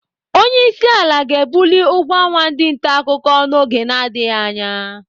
Onyeisiala ga-ebuli ụgwọ ọnwa ndị ntaakụkọ n'oge na-adịghị anya.